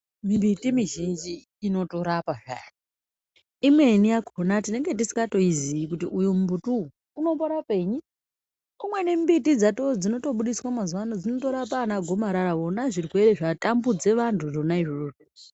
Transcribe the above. Mumbiti mizhinji inotorapa zvayo. Imweni yakhona tinenge tisingatoizii kuti uyu mumbuti uyu unomborapenyi? Umweni mumbiti dzato dzinotobudiswa mazuwa ano dzinotorapa anagomarara. Vona zvona zvirwere zvatambudza vantu zvona izvozvo.